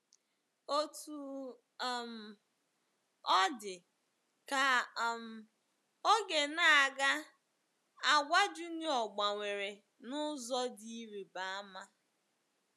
Otú um ọ dị, ka um oge na - aga, àgwà Junior gbanwere n’ụzọ dị ịrịba ama.